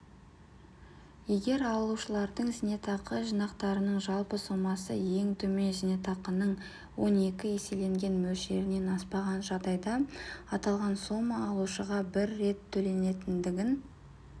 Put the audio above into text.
егер алушылардың зейнетақы жинақтарының жалпы сомасы ең төмен зейнетақының он екі еселенген мөлшерінен аспаған жағдайда аталған сома алушыға бір рет төленетіндігін